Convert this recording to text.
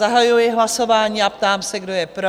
Zahajuji hlasování a ptám se, kdo je pro?